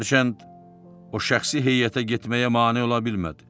Hərçənd o şəxsi heyətə getməyə mane ola bilmədi.